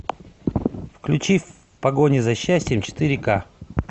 включи в погоне за счастьем четыре ка